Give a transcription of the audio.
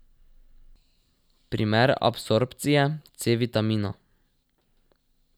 Primer absorpcije C vitamina.